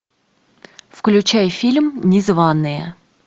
включай фильм незваные